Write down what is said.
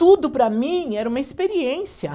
Tudo para mim era uma experiência.